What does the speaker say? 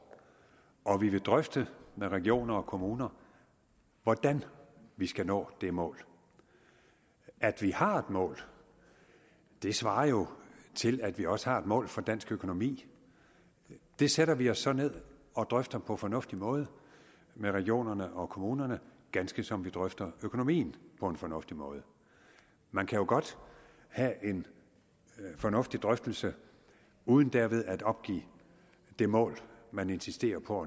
og vi vil drøfte med regioner og kommuner hvordan vi skal nå det mål at vi har et mål det svarer jo til at vi også har et mål for dansk økonomi det sætter vi os så ned og drøfter på en fornuftig måde med regionerne og kommunerne ganske som vi drøfter økonomien på en fornuftig måde man kan jo godt have en fornuftig drøftelse uden derved at opgive det mål man insisterer på